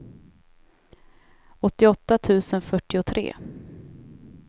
åttioåtta tusen fyrtiotre